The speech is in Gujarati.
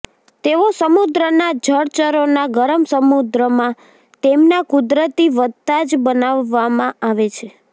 તેઓ સમુદ્રના જળચરોના ગરમ સમુદ્રમાં તેમના કુદરતી વધતા જ બનાવવામાં આવે છે